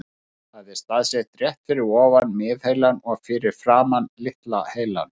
Það er staðsett rétt fyrir ofan miðheilann og fyrir framan litla heilann.